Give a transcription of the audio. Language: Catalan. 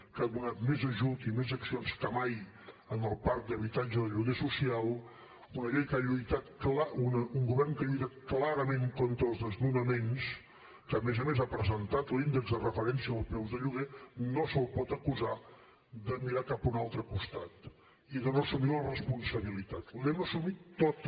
que ha donat més ajut i més accions que mai al parc d’habitatge del lloguer social un govern que ha lluitat clarament contra els desnonaments que a més a més ha presentat l’índex de referència dels preus de lloguer no se’l pot acusar de mirar cap a un altre costat i de no assumir la responsabilitat l’hem assumida tota